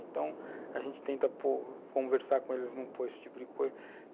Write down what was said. Então, a gente tenta por, conversar com eles, não pôr esse tipo de coisa.